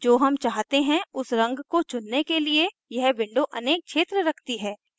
जो हम चाहते हैं उस रंग को चुनने के लिए यह window अनेक क्षेत्र रखती है